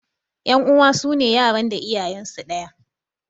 Ƴan uwa sune yaran da iyayensu ɗaya.